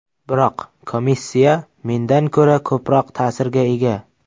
Biroq komissiya mendan ko‘ra ko‘proq ta’sirga ega.